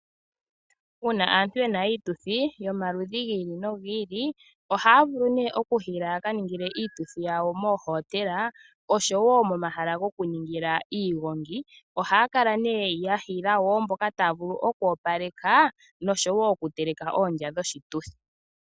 Uuna aantu yena iituthi yomaludhi gi ili nogi ili ohaya vulu ne okuhiila yaka ningile iituthi yawo moohotela osho wo momahala gokuningila iigongi. Ohaya kala ne yahiila wo mboka taya vulu okuwapaleka nosho wo okuteleka oondja dhoshituthi.